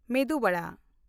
ᱢᱮᱫᱩ ᱣᱟᱲᱟ